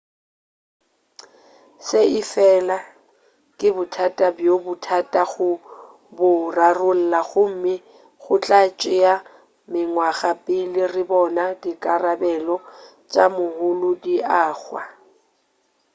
se efela ke bothata bjo bothata go bo rarolla gomme go tla tšea mengwaga pele re bona dikarabelo tša moholo di agwa